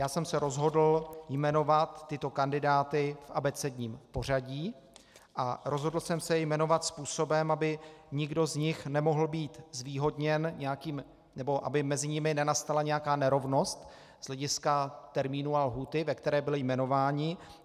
Já jsem se rozhodl jmenovat tyto kandidáty v abecedním pořadí a rozhodl jsem se je jmenovat způsobem, aby nikdo z nich nemohl být zvýhodněn nebo aby mezi nimi nenastala nějaká nerovnost z hlediska termínu a lhůty, ve které byli jmenováni.